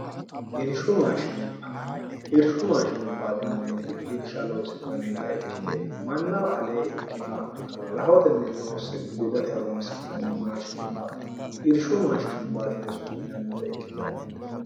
irshu maashinubba irshu maashinubbaatinanniti irsha loosi'nannita ikkite mannawa alee ikkinoha rahotenni loosse gudate horoonsi'nanni maashinubba irshu maashinubbaatine su'minannita ikkitanno